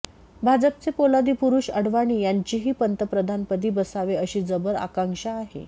भाजपचे पोलादी पुरुष अडवाणी यांचीही पंतप्रधानपदी बसावे अशी जबर आकांक्षा आहे